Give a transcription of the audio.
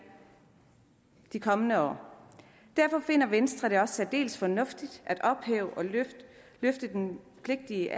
de kommende år derfor finder venstre det også særdeles fornuftigt at ophæve og løfte den pligtige